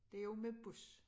Det jo med bus